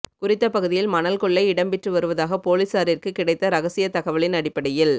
குறித்த பகுதியில் மணல் கொள்ளை இடம்பெற்று வருவதாக பொலிசாறிற்கு கிடைத்த இரகசியத் தகவலின் அடிப்படையில்